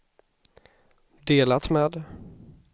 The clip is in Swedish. delat med